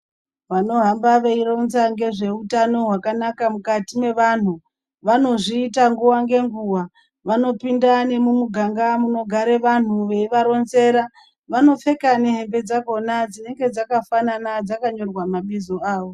Vanohamba veironza ngezveutano hwakanaka mukati mevantu, vanozviita nguva ngenguwa. Vanopinda nemumuganga munogare vantu veivaronzera. Vanopfeka nehembe dzakhona dzinenge dzakafanana dzakanyorwa mabizo avo.